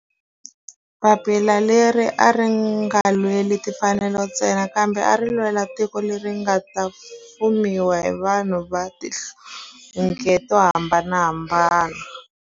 Papila leri a ri nga lweli timfanelo ntsena kambe ari lwela tiko leri nga ta fumiwa hi vanhu va tihlonge to hambanahambana.